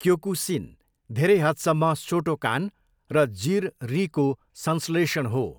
Kyokushin धेरै हदसम्म Shotokan र जिर रीको संश्लेषण हो।